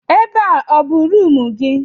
Ebe a ọ bụ rumụ gị?